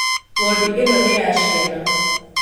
Wondi ĩno nĩ ya ciana